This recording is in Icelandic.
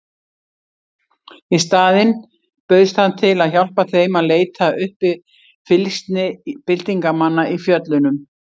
Í staðinn bauðst hann til að hjálpa þeim að leita uppi fylgsni byltingarmanna í fjöllunum.